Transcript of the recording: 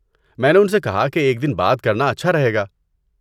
میں نے ان سے کہا کہ ایک دن بعد کرنا اچھا رہے گا۔